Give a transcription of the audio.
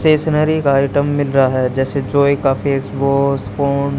stationery item मिल रहा है जैसे जॉय का फेस वॉश कोन --